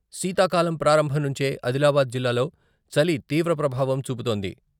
శీతాకాలం ప్రారంభం నుంచే ఆదిలాబాద్ జిల్లాలో చలి తీవ్ర ప్రభావం చూపుతోంది.